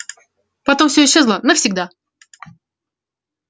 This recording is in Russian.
потом все исчезло навсегда